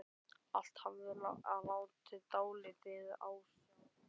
Allt hafði látið dálítið á sjá.